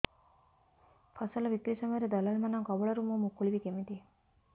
ଫସଲ ବିକ୍ରୀ ସମୟରେ ଦଲାଲ୍ ମାନଙ୍କ କବଳରୁ ମୁଁ ମୁକୁଳିଵି କେମିତି